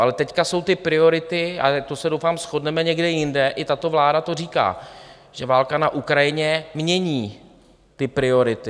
Ale teď jsou to priority, a to se doufám shodneme, někde jinde, i tato vláda to říká, že válka na Ukrajině mění ty priority.